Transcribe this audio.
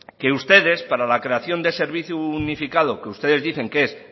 que ustedes para la creación de un servicio unificado que ustedes dicen que es